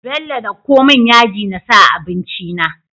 Bello dako mun yaji nasa a abinci na